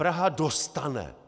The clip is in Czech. Praha dostane!